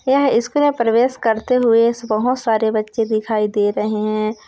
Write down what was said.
--यह स्कूल प्रवेश करते हुए बहुत सारे बच्चे दिखाई दे रहें हैं।